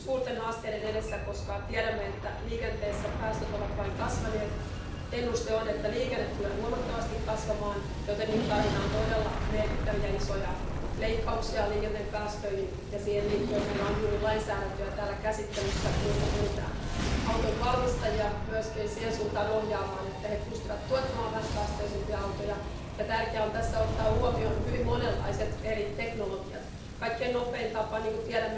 Doprava se podílí na 4 HDP a více než 5 celkové zaměstnanosti v EU. Měli bychom se řídit zásadou, že kdo je uživatel a znečišťovatel, ten platí. Měli bychom prosazovat plány udržitelné městské a venkovské mobility. Měli bychom podporovat zavedení multimodálního dopravního systému pro cestující, zlepšovat mobilitu a kvalitu služeb pro občany. Je důležité zvyšovat rovněž informovanost občanů právě o dopadech jednotlivých druhů dopravy na životní prostředí. Rozvoj dopravních služeb s nízkými emisemi uhlíku by měl být naší prioritou.